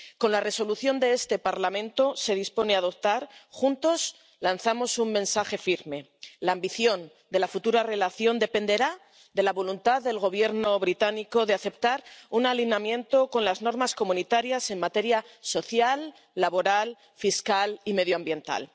Con la resolución que este Parlamento se dispone a aprobar, juntos lanzamos un mensaje firme la ambición de la futura relación dependerá de la voluntad del Gobierno británico de aceptar la conformidad con las normas comunitarias en materia social, laboral, fiscal y medioambiental.